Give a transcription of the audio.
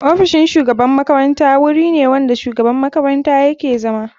Ofisin shugaban makaranta wuri ne wanda shugaban makaranta yake zama.